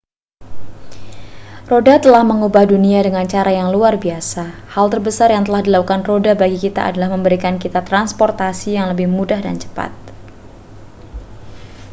roda telah mengubah dunia dengan cara yang luar biasa hal terbesar yang telah dilakukan roda bagi kita adalah memberikan kita transportasi yang lebih mudah dan cepat